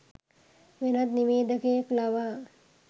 වෙනත් නිවේදකයෙක් ලවා